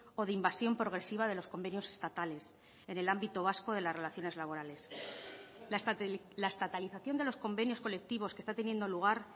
o de invasión progresiva de los convenios estatales en el ámbito vasco de las relaciones laborales la estatalización de los convenios colectivos que está teniendo lugar